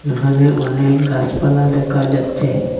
এখানে অনেক গাসপালা দেখা যাচ্ছে।